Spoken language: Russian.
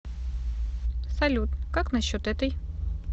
салют как насчет этой